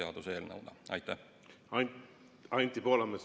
Anti Poolamets, palun!